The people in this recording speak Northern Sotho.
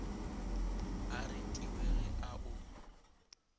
a retiwe ge a o